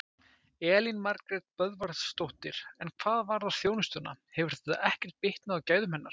Elín Margrét Böðvarsdóttir: En hvað varðar þjónustuna, hefur þetta ekkert bitnað á gæðum hennar?